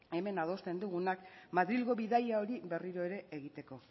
hemen adosten dugunak madrilgo bidaia hori berriro ere egiteko